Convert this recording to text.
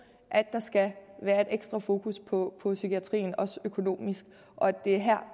at der skal være et ekstra fokus på psykiatrien også økonomisk og det er her